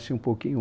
um pouquinho.